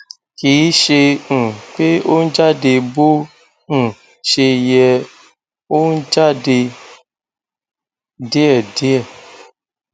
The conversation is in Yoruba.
kìí ṣe um pé ó ń jáde bó um ṣe yẹ ó ń jáde díẹdíẹ